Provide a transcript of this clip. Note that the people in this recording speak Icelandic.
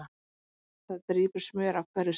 Það drýpur smjör af hverju strái